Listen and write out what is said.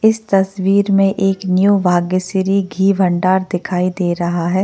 इस तस्वीर में एक न्यू भाग्यश्री घी भंडार दिखाई दे रहा है।